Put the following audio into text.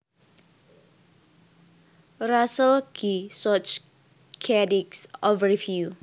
Russell G Schuh Chadic Overview